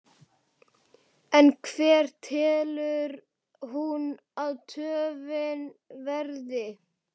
En hver telur hún að töfin verði?